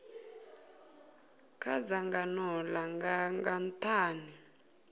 kha dzangano langa nga nthani